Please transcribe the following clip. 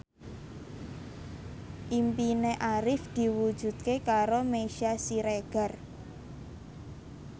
impine Arif diwujudke karo Meisya Siregar